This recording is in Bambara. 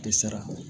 Tɛ sara